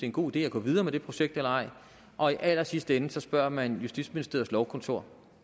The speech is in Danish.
en god idé at gå videre med det projekt eller ej og i allersidste ende spørger man justitsministeriets lovkontor